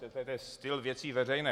To je styl "Věci veřejné".